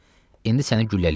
İndi səni güllələyəcəm.”